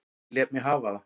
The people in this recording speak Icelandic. Ég lét mig hafa það.